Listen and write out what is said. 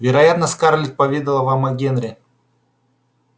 вероятно скарлетт поведала вам о генри